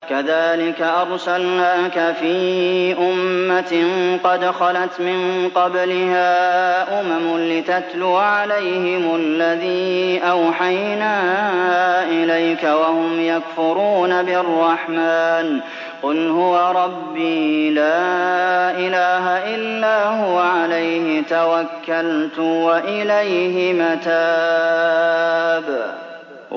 كَذَٰلِكَ أَرْسَلْنَاكَ فِي أُمَّةٍ قَدْ خَلَتْ مِن قَبْلِهَا أُمَمٌ لِّتَتْلُوَ عَلَيْهِمُ الَّذِي أَوْحَيْنَا إِلَيْكَ وَهُمْ يَكْفُرُونَ بِالرَّحْمَٰنِ ۚ قُلْ هُوَ رَبِّي لَا إِلَٰهَ إِلَّا هُوَ عَلَيْهِ تَوَكَّلْتُ وَإِلَيْهِ مَتَابِ